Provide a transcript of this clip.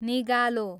निगालो